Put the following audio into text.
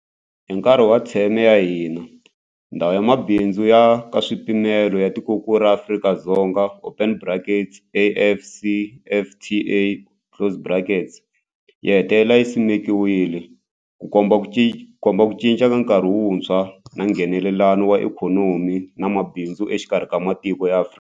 Hi nkarhi wa theme ya hina, Ndhawu ya Mabindzu ya Nkaswipimelo ya Tikokulu ra Afrika open brackets AfCFTA closed brackets yi hetelele yi simekiwile, Ku komba ku cinca ka nkarhi wuntshwa wa Nghenelelano wa ikhonomi na mabindzu exikarhi ka matiko ya Afrika.